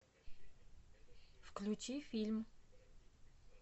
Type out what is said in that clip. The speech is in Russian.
включи фильм